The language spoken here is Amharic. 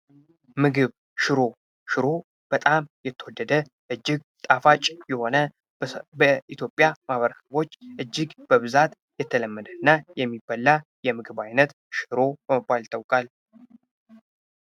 ምግብ ሽሮ፦ ሽሮ በጣም የተወደደ እጅግ ጣፋጭ የሆነ በኢትዮጵያ ማህበረሰቦች ዘንድ እጅግ በጣም የተለመደ እና የሚበላ የምግብ ዓይነት ሽሮ በመባል ይታወቃል።